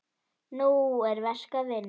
Nú er verk að vinna.